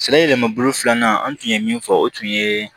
Sɛnɛ yɛlɛmabolo filanan an tun ye min fɔ o tun yee